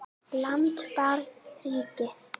land barn ríki